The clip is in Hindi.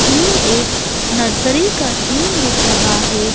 ये एक नर्सरी का सीन दिख रहा है।